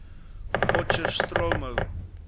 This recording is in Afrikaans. potchefstromo